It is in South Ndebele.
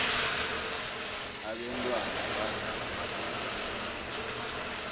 abentwana badlda amadombolo